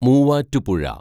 Muvattupuzha